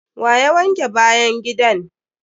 Wa ya wanke bayan gidan!